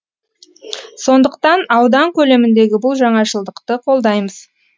сондықтан аудан көлеміндегі бұл жаңашылдықты қолдаймыз